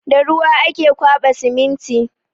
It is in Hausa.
Da ruwa ake ƙwaba siminti.